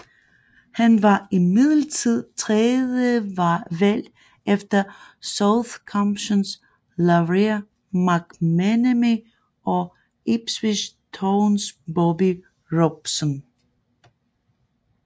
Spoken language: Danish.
Han var imidlertid tredjevalg efter Southamptons Lawrie McMennemy og Ipswich Towns Bobby Robson